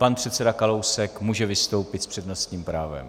Pan předseda Kalousek, může vystoupit s přednostním právem.